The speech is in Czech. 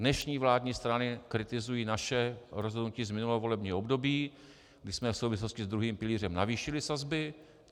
Dnešní vládní strany kritizují naše rozhodnutí z minulého volebního období, kdy jsme v souvislosti s druhým pilířem navýšili sazby.